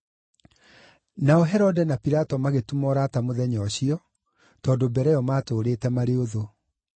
Nao Herode na Pilato magĩtuma ũrata mũthenya ũcio, tondũ mbere ĩyo maatũũrĩte marĩ ũthũ.